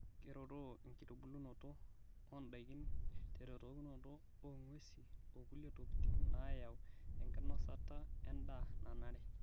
Keretoo enkitubulunoto ondaikin teretokinoto ong'wesi okulie tokitin naayau enkinosta endaa nanare.